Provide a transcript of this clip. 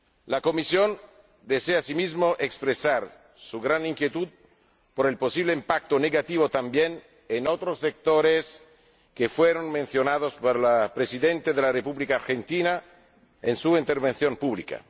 La Comisión desea, asimismo, expresar su gran inquietud por el posible impacto negativo también en otros sectores que fueron mencionados por la Presidenta de la República Argentina en su intervención pública.